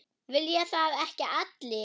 Vilja það ekki allir?